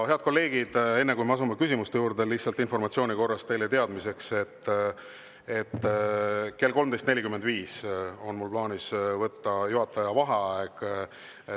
Head kolleegid, enne kui me asume küsimuste juurde, lihtsalt informatsiooni korras teile teadmiseks, et kell 13.45 on mul plaanis võtta juhataja vaheaeg.